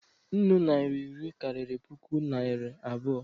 Nnụ naira iri karịrị puku naria abụọ.